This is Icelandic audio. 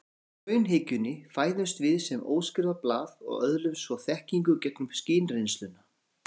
Samkvæmt raunhyggjunni fæðumst við sem óskrifað blað og öðlumst svo þekkingu gegnum skynreynsluna.